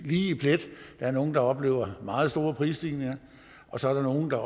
lige i plet der er nogle der oplever meget store prisstigninger og så er der nogle der